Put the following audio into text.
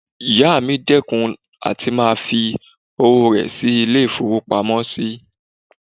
Ìyá mi dẹ́kun àti máa fi owó rẹ̀ sí ilé-ìfowópamọ́sí